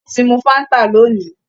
Ó ti mu fáńtà lónìí?